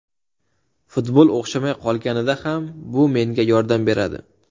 Futbol o‘xshamay qolganida ham, bu menga yordam beradi.